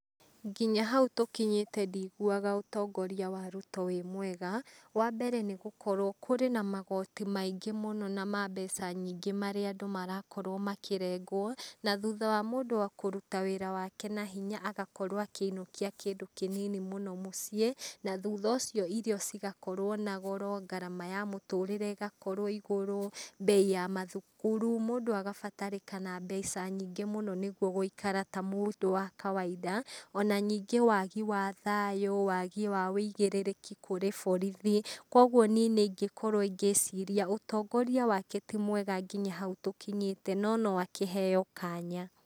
Nginya haũ tũkinyĩte ndiguaga ũtongoria wa Ruto wĩ mwega wambere nĩ gũkorwo kũrĩ na magoti maingĩ mũno na ma mbeca nyingĩ marĩa andũ marakorwo makĩrengwo na thutha wa mũndũ kũruta wĩra wake na hinya agakorwo akĩinukia kindũ kinini mũno mũciĩ na thutha ucio irio cigakorwo na goro ngarama ya mũtũrĩre igakorwo igũrũ, mbei ya mathukuru. Mũndũ agabatarĩkana mbeca nyingĩ mũno nĩguo gũikara ta mũndũ wa kawainda ona ningĩ wagi wa thayu, wagi wa uigirĩrĩki kũrĩ borithi kogũo niĩ nĩingĩkorwo ngĩciria ũtongoria wake ti mwega nginya hau tũkinyĩte no no akĩheo kanya.